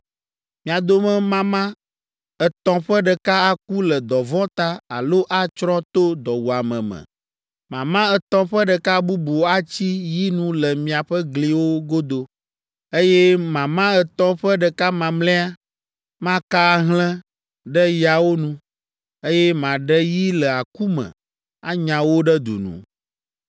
Mia dome mama etɔ̃ ƒe ɖeka aku le dɔvɔ̃ ta alo atsrɔ̃ to dɔwuame me, mama etɔ̃ ƒe ɖeka bubu atsi yi nu le miaƒe gliwo godo, eye mama etɔ̃ ƒe ɖeka mamlɛa maka ahlẽ ɖe yawo nu, eye maɖe yi le aku me anya wo ɖe du nu.’